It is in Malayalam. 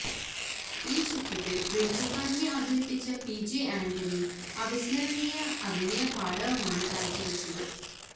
ഈ ചിത്രത്തില് വെളിച്ചപ്പാടിനെ അവതരിപ്പിച്ച പി ജെ ആന്റണി അവിസ്മരണീയഅഭിനയപാടവമാണ് കാഴ്ചവെച്ചത്